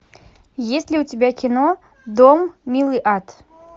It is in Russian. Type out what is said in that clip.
есть ли у тебя кино дом милый ад